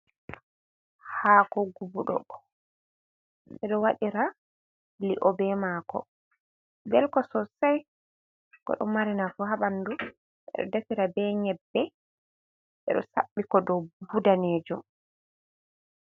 Haako gubuɗo. Ɓe ɗo waɗira li'o be maako, belko sosai, ko ɗo mari nafu haa ɓandu. Ɓe ɗo defira be nyebbe, ɓe ɗo saɓɓi ko dou buhu danejum.